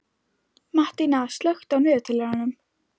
Mattína, slökktu á niðurteljaranum.